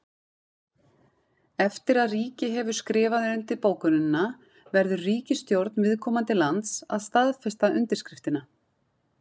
Eftir að ríki hefur skrifað undir bókunina verður ríkisstjórn viðkomandi lands að staðfesta undirskriftina.